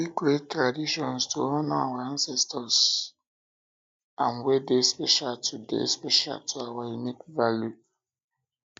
we fit create traditions to honor our ancestors and wey dey special to dey special to our unique values